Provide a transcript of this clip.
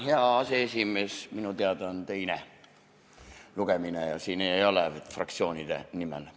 Hea aseesimees, minu teada on teine lugemine ja siin ei võeta sõna fraktsioonide nimel.